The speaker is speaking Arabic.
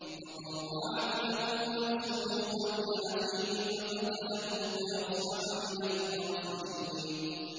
فَطَوَّعَتْ لَهُ نَفْسُهُ قَتْلَ أَخِيهِ فَقَتَلَهُ فَأَصْبَحَ مِنَ الْخَاسِرِينَ